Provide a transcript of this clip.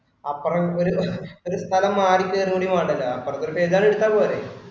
അപ്പറം എനിക്കൊരു ഒരു സ്ഥലം മാറി കേറുക കൂടി വേണ്ടല്ലോ, അപ്പറത്തൊരു എടുത്താ പോരെ